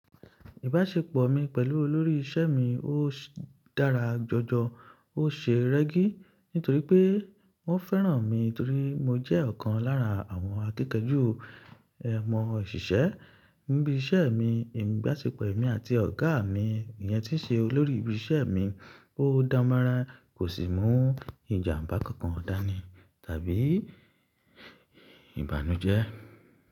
Ìbáṣepọ̀ mi pẹ̀lú olórí iṣẹ́ mi ó dára jọjọ, ó ṣe rẹ́gí nítorí pé wọ́n fẹ́ràn mi torí mo jẹ́ ọ̀kan lára àwọn akinkan ju ẹmọ òṣìṣẹ́ níbi iṣẹ́ mi. Ìbáṣepọ̀ èmi àti ọ̀gá mi, ènìyàn tí ṣe olórí ibi iṣẹ́ mi, ó dára mọ́rán, kò sì mú ìjàmbá kankan dání tàbí ìbànújẹ́.